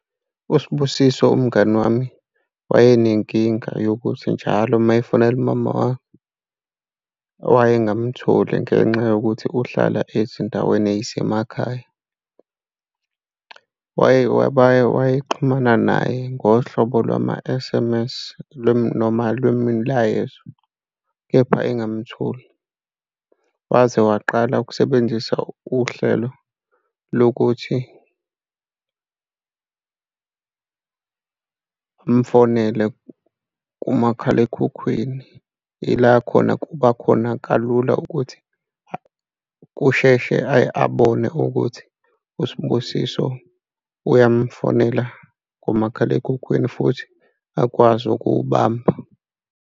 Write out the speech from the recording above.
USibusiso umngani wami, wayenenkinga yokuthi njalo uma efanela umama wakhe wayengamtholi ngenxa yokuthi uhlala ezindaweni ey'semakhaya. Wayexhumana naye ngohlobo lwama-S_M_S noma lemilayezo, kepha engamtholi. Waze waqala ukusebenzisa uhlelo lokuthi fonele kumakhalekhukhwini, ila khona kuba khona kalula ukuthi kusheshe abone ukuthi uSibusiso uyamfonela kumakhalekhukhwini futhi akwazi ukuwubamba.